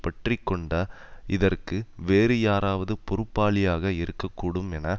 பற்றிக்கொண்ட இதற்கு வேறு யாராவது பொறுப்பாளியாக இருக்க கூடும் என